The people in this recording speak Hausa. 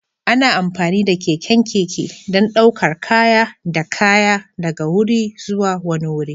Ana amfani da keken keke don ɗaukar kaya da kaya daga wuri zuwa wani wuri.